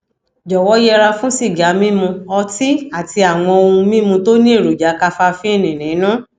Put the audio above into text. jọwọ yẹra fún sìgá mímu ọtí àti àwọn ohun mímu tó ní èròjà kafafíìnì nínú